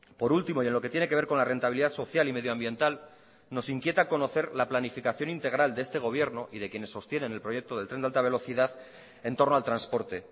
por último y en lo que tiene que ver con la rentabilidad social y medioambiental nos inquieta conocer la planificación integral de este gobierno y de quienes sostienen el proyecto del tren de alta velocidad entorno al transporte